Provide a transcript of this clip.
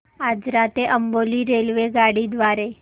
आजरा ते अंबोली रेल्वेगाडी द्वारे